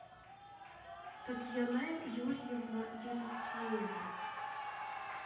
татьяна юрьевна елисеева